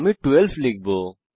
আমি 12 লিখব